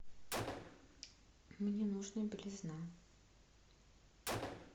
мне нужна белизна